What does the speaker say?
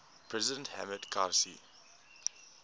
president hamid karzai